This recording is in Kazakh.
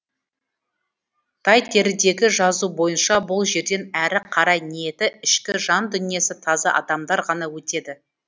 тайтерідегі жазу бойынша бұл жерден әрі қарай ниеті ішкі жан дүниесі таза адамдар ғана өтеді